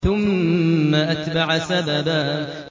ثُمَّ أَتْبَعَ سَبَبًا